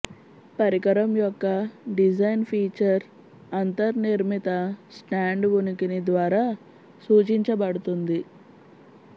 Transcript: పరికరం యొక్క design feature అంతర్నిర్మిత స్టాండ్ ఉనికిని ద్వారా సూచించబడుతుంది